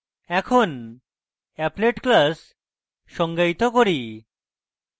এখন applet class সংজ্ঞায়িত করি